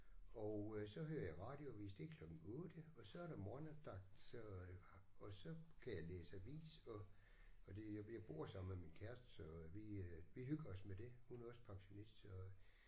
Og øh så hører jeg radioavis det er klokken 8 og så er der morgenandagt så øh og så kan jeg læse avis og og det jeg bor sammen med min kæreste så vi øh vi hygger os med det. Hun er også pensionist så